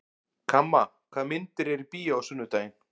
Kamma, hvaða myndir eru í bíó á sunnudaginn?